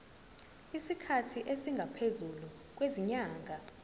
isikhathi esingaphezulu kwezinyanga